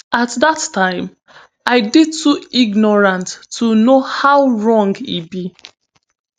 at dat time i dey too ignorant to know how wrong e be